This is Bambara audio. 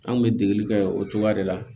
An kun bɛ degeli kɛ o cogoya de la